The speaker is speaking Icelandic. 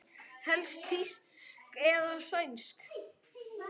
Helst þýsk eða sænsk.